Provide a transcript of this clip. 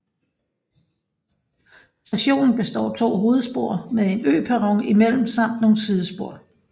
Stationen består af to hovedspor med en øperron imellem samt nogle sidespor